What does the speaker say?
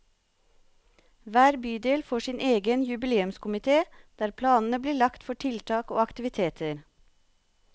Hver bydel får sin egen jubileumskomité, der planene blir lagt for tiltak og aktiviteter.